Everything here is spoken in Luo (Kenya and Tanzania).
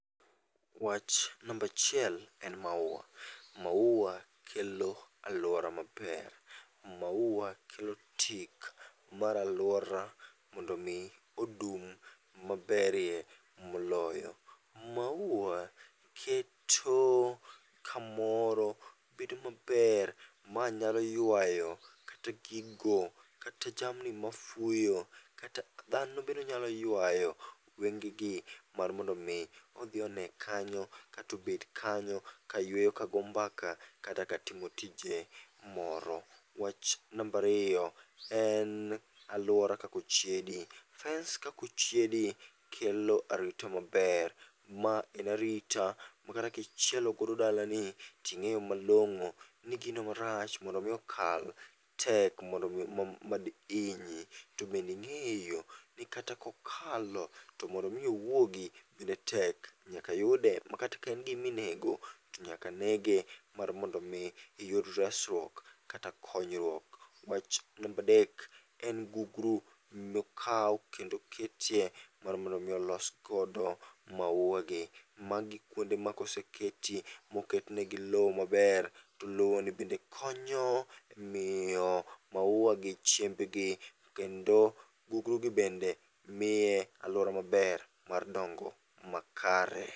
Wach nambachiel en maua, maua kelo alwora maber. Maua kelo tik mar alwora mondo mi odum maberie moloyo. Maua keto kamoro bedo maber, ma nyao ywayo kata gigo, kata jamni mafuyo, kata dhano bende onyalo ywayo wenge gi. Mar mondo mi odhi one kanyo, katobed kanyo kayweyo kago mbaka kata katimo tije moro. Wach nambariyo en alwora kakochiedi: fence kakochiedi kelo arita maber. Ma en arita ma kata kichielogodo dalani ting'eyo malong'o ni gino marach mondo mi okal tek mondo mi mad inyi. To bending'eyo ni kata kokalo to mondo mi owuogi bende tek, nyaka yude ma kata ka en gimi nego to nyaka nege mar mondo mi iyud resruok kata konyruok. Wach nambadek en gugru mokaw kendo ketye mar mondomi olos godo maua gi. Magi kuonde ma koseketi moketnegi lo maber, to lo bende konyo miyo maua gi chiemb gi. To kendo, gugru gi bende miye alwora maber mar dongo makare.